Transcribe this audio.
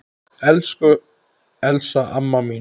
Elsku Elsa amma mín.